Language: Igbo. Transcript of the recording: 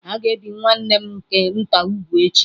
A ga-ebi nwanne m nke nta úgwù echi.